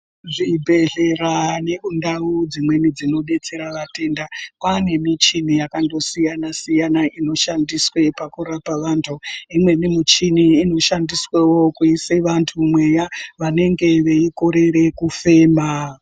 Zvibhedhlera nekundau dzimweni dzinobetsera vatenda kwane michini yakandosiyana siyana inoshandiswe pakurape vantu, imweni michini inoshandiswewo kuise vantu mweya vanenge veikorere kufema.